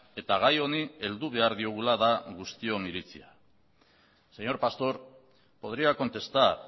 eta gai honi heldu behar diogula da guztion iritzia señor pastor podría contestar